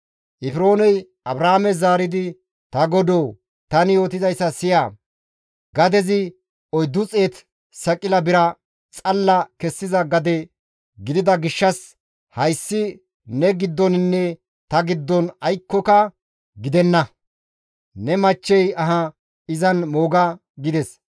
Efrooney Abrahaames zaaridi, «Ta godoo! Tani yootizayssa siya; gadezi 400 saqile bira xalla kessiza gade gidida gishshas hayssi ne giddoninne ta giddon aykkoka gidenna; ne machchey aha izan mooga» gides.